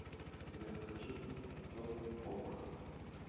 сбер включи тотпок